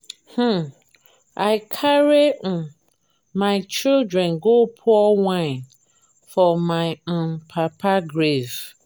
um i carry um my children go pour wine for my um papa grave